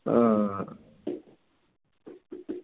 അഹ്